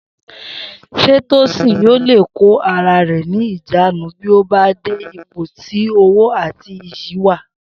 S̩é Tósìn yóò le kó ara rè̩ ní ìjánu bí ó bá de ipò tí owó àti iyì wà?